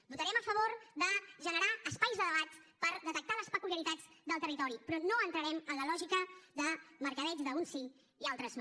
votarem a favor de generar espais de debat per detectar les peculiaritats del territori però no entrarem en la lògica de mercadeig d’uns sí i altres no